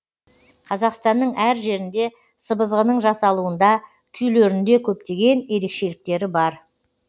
қазақстанның әр жерінде сыбызғының жасалуында күйлерінде көптеген ерекшеліктері бар